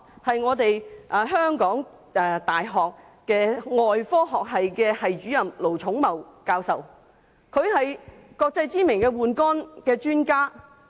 就是香港大學外科學系系主任盧寵茂教授，他是國際知名的換肝專家。